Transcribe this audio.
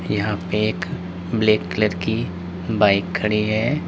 यहां पर एक ब्लैक कलर की बाइक खड़ी है।